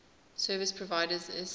service providers isps